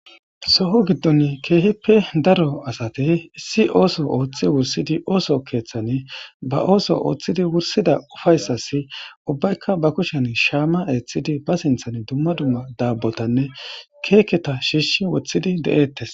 soho giddon keehippe daro asati issi ooso ooththi wursidi ooso keeththan ba ooso ooththidi wursida ufayssasi ubbaykka ba kushen shaama eeththidi ba sinthan dumma dumma daabbotanne keeketa shiishi woththidi de7eettes